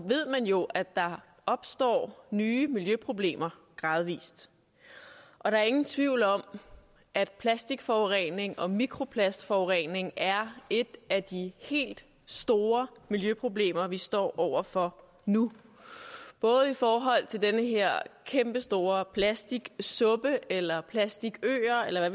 ved man jo at der opstår nye miljøproblemer gradvis og der er ingen tvivl om at plastikforurening og mikroplastforurening er et af de helt store miljøproblemer vi står over for nu både i forhold til den her kæmpestore plastiksuppe eller de plastikøer eller